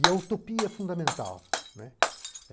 E a utopia é fundamental.